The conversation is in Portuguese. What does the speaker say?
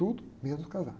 Tudo menos casar.